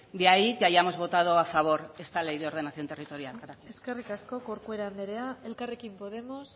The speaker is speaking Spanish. de ahí que hayamos votado a favor de esta ley de ordenación territorial gracias eskerrik asko corcuera anderea elkarrekin podemos